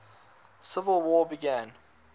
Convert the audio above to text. civil war began